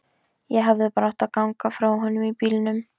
Ég hefði bara átt að ganga frá honum í bílnum.